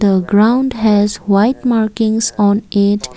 a ground has white markings on it.